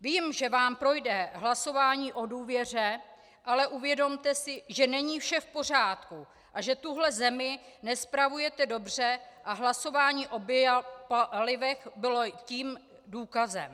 Vím, že vám projde hlasování o důvěře, ale uvědomte si, že není vše v pořádku a že tuhle zemi nespravujete dobře, a hlasování o biopalivech bylo toho důkazem.